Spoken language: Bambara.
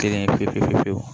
Kelen fiwu